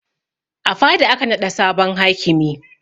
A fada aka naɗa sabon hakimi